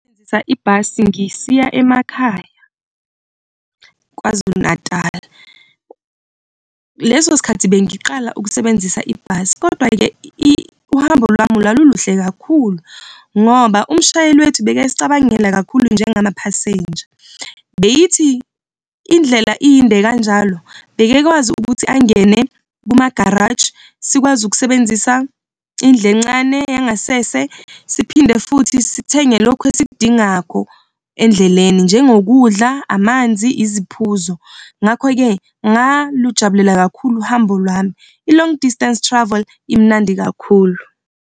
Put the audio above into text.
Ngasebenzisa ibhasi ngisiya emakhaya KwaZulu-Natal. Leso sikhathi bengiqala ukusebenzisa ibhasi kodwa-ke uhambo lwami lwaluluhle kakhulu ngoba umshayeli wethu bekasicabangela kakhulu njengama phasenja. Beyithi indlela iyinde kanjalo bekakwazi ukuthi angene kumagaraji sikwazi ukusebenzisa indlu encane yangasese siphinde futhi sithenge lokhu esikudingako endleleni, njengokudla, amanzi, iziphuzo. Ngakho-ke, ngalujabulela kakhulu uhambo lwami, i-long distance travel imnandi kakhulu.